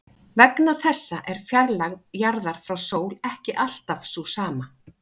Vegna þessa er fjarlægð jarðar frá sól ekki alltaf sú sama.